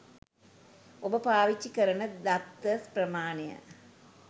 ඔබ පාවිච්චි කරන දත්ත ප්‍රමාණය